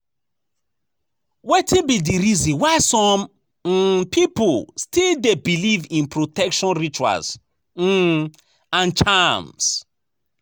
Wetin be di reason why some um people still dey believe in protection rituals um and charms?